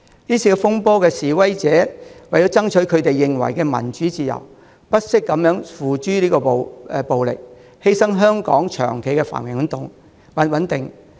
這次風波的示威者為了爭取他們認為的民主自由，不惜付諸暴力，犧牲香港長期的繁榮穩定。